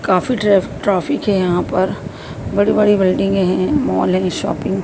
काफी ट्रैफ ट्राफीक है यहाँ पर बड़ी-बड़ी बिल्डिंगे हैं मॉल हैं शॉपिंग --